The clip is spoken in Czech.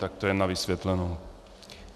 Tak to jenom na vysvětlenou.